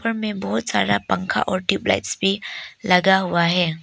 में बहोत सारा पंख और ट्यूबलाइट्स भी लगा हुआ है।